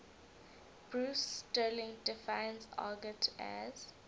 bruce sterling defines argot as